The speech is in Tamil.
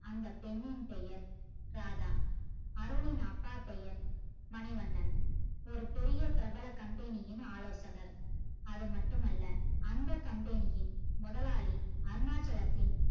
அந்த பெண்ணின் பெயர் ராதா அருண்னின் அப்பா பெயர் மணிவண்ணன் ஒரு பெருய பிரபல company யின் ஆலோசகர் அது மட்டும் அல்ல அந்த company யின் முதலாளி அருணாச்சலத்தின்